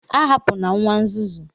A hapụna nwa nzuzu